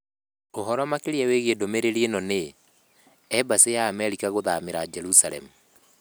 Ũhoro makĩria wĩgiĩ ndũmĩrĩri ĩno nĩ: Embassy ya Amerika gũthamĩra Jerusalemu?